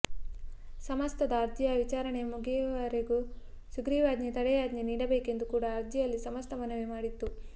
ಸಮಸ್ತದ ಅರ್ಜಿಯ ವಿಚಾರಣೆ ಮುಗಿಯುವವರೆಗೆ ಸುಗ್ರಿವಾಜ್ಞೆಗೆ ತಡೆಯಾಜ್ಞೆ ನೀಡಬೇಕೆಂದು ಕೂಡ ಅರ್ಜಿಯಲ್ಲಿ ಸಮಸ್ತ ಮನವಿ ಮಾಡಿತ್ತು